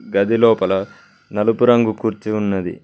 గదిలోపల నలుపు రంగు కుర్చీ ఉన్నది.